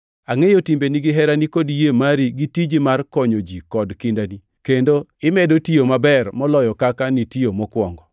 Angʼeyo timbeni gi herani kod yie mari gi tiji mar konyo ji kod kindani. Kendo imedo tiyo maber moloyo kaka nitiyo mokwongo.